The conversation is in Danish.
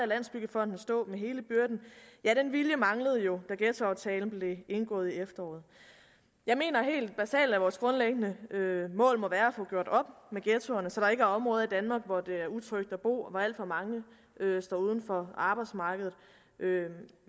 landsbyggefonden stå med hele byrden manglede jo da ghettoaftalen blev indgået i efteråret jeg mener helt basalt at vores grundlæggende mål må være at få gjort op med ghettoerne så der ikke er områder i danmark hvor det er utrygt at bo og hvor alt for mange står uden for arbejdsmarkedet